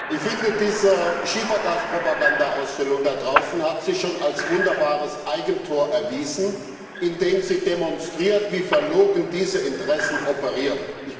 Ich finde, diese Schiefergas Propagandaausstellung da draußen hat sich schon als wunderbares Eigentor erwiesen, indem sie demonstriert, wie verlogen diese Interessen operieren.